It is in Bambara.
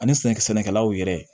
Ani sɛnɛkɛ sɛnɛkɛlaw yɛrɛ